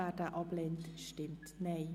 Wer diesen ablehnt, stimmt Nein.